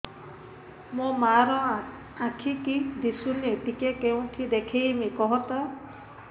ମୋ ମା ର ଆଖି କି ଦିସୁନି ଟିକେ କେଉଁଠି ଦେଖେଇମି କଖତ